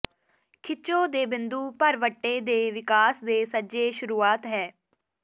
ਖਿਚੋ ਦੇ ਬਿੰਦੂ ਭਰਵੱਟੇ ਦੇ ਵਿਕਾਸ ਦੇ ਸੱਜੇ ਸ਼ੁਰੂਆਤ ਹੈ